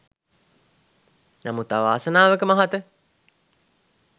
නමුත් අවාසනාවක මහත